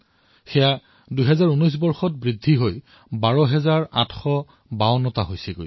২০১৯ চনত ইয়াৰ সংখ্যা বৃদ্ধি হৈ ১২৮৫২ টা হল